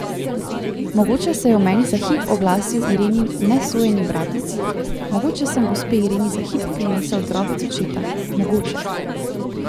Mogoče se je v meni za hip oglasil Irenin nesojeni bratec, mogoče sem gospe Ireni za hip prinesel drobec očeta, mogoče.